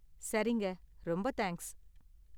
சரிங்க! ரொம்ப தேங்க்ஸ்.